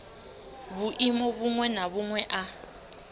vhuimo vhuṅwe na vhuṅwe a